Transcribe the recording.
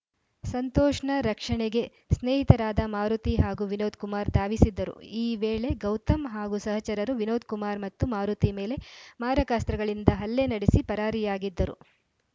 ಸಂತೋಷ್‌ನ ರಕ್ಷಣೆಗೆ ಸ್ನೇಹಿತರಾದ ಮಾರುತಿ ಹಾಗೂ ವಿನೋದ್‌ ಕುಮಾರ್‌ ಧಾವಿಸಿದ್ದರು ಈ ವೇಳೆ ಗೌತಮ್‌ ಹಾಗೂ ಸಹಚರರು ವಿನೋದಕುಮಾರ್‌ ಮತ್ತು ಮಾರುತಿ ಮೇಲೆ ಮಾರಕಾಸ್ತ್ರಗಳಿಂದ ಹಲ್ಲೆ ನಡೆಸಿ ಪರಾರಿಯಾಗಿದ್ದರು